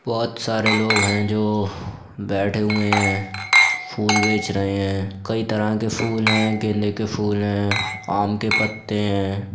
बोहोत सारा लोग हैं जो बेठे हुए हैं। फूल बेच रहे हैं। कई तरह के फूल हैं गेंदे के फूल हैं आम के पत्ते हैं।